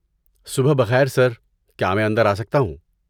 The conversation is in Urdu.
صبح بخیر سر، کیا میں اندر آ سکتا ہوں؟